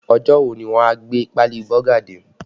Ọjọ́ wo ni wọ́n a gbé páálí Bọ́gà dé?